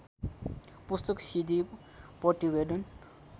पुस्तक सिडी प्रतिवेदन